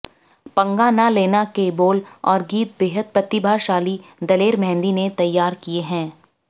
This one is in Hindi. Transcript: पंगा ना लेना के बोल और गीत बेहद प्रतिभाशाली दलेर मेहन्दी ने तैयार किए हैं